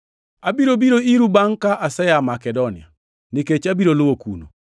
Abiro biro iru bangʼ ka asea Makedonia, nikech abiro luwo kuno.